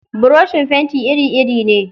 Buroshin fenti iri-iri ne.